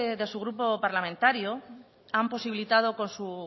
de su grupo parlamentario ha posibilitado con su